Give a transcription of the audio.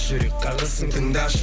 жүрек қағысын тыңдашы